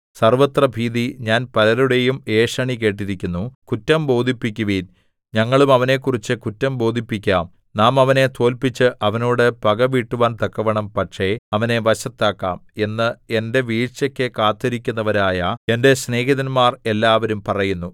സർവ്വത്രഭീതി ഞാൻ പലരുടെയും ഏഷണി കേട്ടിരിക്കുന്നു കുറ്റം ബോധിപ്പിക്കുവിൻ ഞങ്ങളും അവനെക്കുറിച്ചു കുറ്റം ബോധിപ്പിക്കാം നാം അവനെ തോല്പിച്ച് അവനോട് പകവീട്ടുവാൻ തക്കവണ്ണം പക്ഷേ അവനെ വശത്താക്കാം എന്ന് എന്റെ വീഴ്ചയ്ക്കു കാത്തിരിക്കുന്നവരായ എന്റെ സ്നേഹിതന്മാർ എല്ലാവരും പറയുന്നു